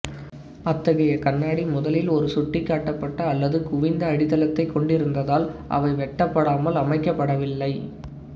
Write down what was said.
அத்தகைய கண்ணாடி முதலில் ஒரு சுட்டிக்காட்டப்பட்ட அல்லது குவிந்த அடித்தளத்தை கொண்டிருந்ததால் அவை வெட்டப்படாமல் அமைக்கப்படவில்லை